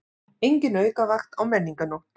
Engin aukavakt á Menningarnótt